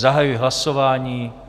Zahajuji hlasování.